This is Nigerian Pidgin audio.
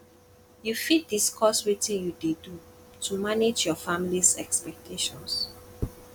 you fit discuss wetin you dey do to manage your familys expectations